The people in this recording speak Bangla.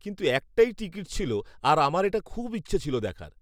-কিন্তু একটাই টিকিট ছিল আর আমার এটা খুব ইচ্ছে ছিল দেখার।